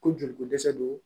Ko joli ko dɛsɛ don